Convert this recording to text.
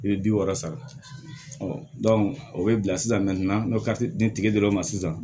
I bɛ bi wɔɔrɔ sara o bɛ bila sisan n'o ka di ni tigi dɔrɔn ma sisan